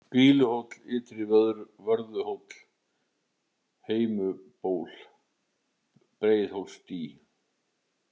Grýluhóll, Ytri-Vörðuhóll, Heimuluból, Breiðhólsdý